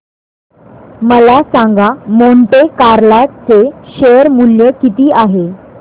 मला सांगा Monte Carlo चे शेअर मूल्य किती आहे